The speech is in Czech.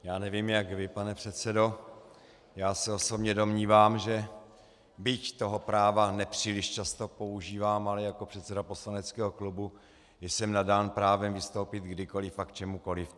Já nevím, jak vy, pane předsedo, já se osobně domnívám, že byť toho práva nepříliš často používám, ale jako předseda poslaneckého klubu jsem nadán právem vystoupit kdykoliv a k čemukoliv.